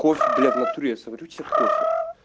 кофе бля в натуре я сварю тебе кофе